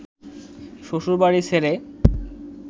শ্বশুরবাড়ি ছেড়ে